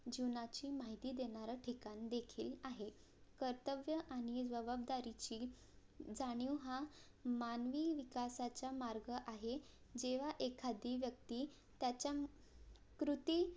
जीवनाची माहिती देणारा ठिकाण देखील आहे कर्तव्य आणि जवाबदारीची जाणीव हा मानवी विकासाचा मार्ग आहे जेव्हा एखादी व्यक्ती त्याच्या कृती